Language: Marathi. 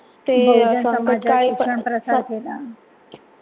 बहूजन समाजात शिक्षण प्रसार केला.